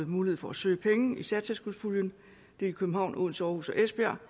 mulighed for at søge penge særtilskudspuljen københavn odense aarhus og esbjerg